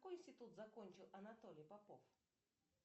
какой институт закончил анатолий попов